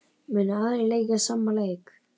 Munu aðrir leika sama leik?